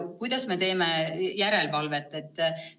Kuidas me teeme järelevalvet?